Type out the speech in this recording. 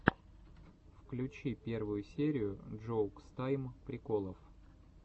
включи первую серию джоукс тайм приколов